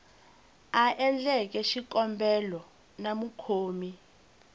a endleke xikombelo na mukhomi